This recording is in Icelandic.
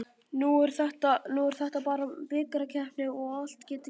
Nú er þetta bara bikarkeppni og allt getur gerst.